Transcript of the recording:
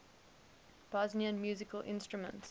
bosnian musical instruments